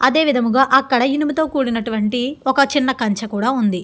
అదే విధముగా అక్కడ ఇనుముతో కూడినటువంటి ఒక చిన్న కంచే కూడా ఉంది.